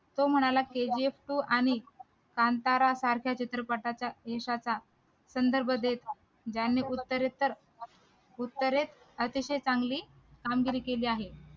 तो म्हणाला kgf two आणि कांतारा सारख्या चित्रपटाच्या यशाचा ज्यांनी उत्तरेचा उत्तरेत अतिशय चांगली कामगिरी केली आहे